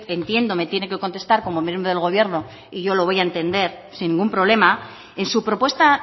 entiendo me tiene que contestar como miembro del gobierno y yo lo voy a entender sin ningún problema en su propuesta